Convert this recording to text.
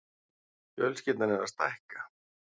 Fjölskyldan er að stækka.